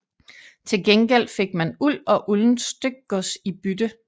Til gengæld fik man uld og uldent stykgods i bytte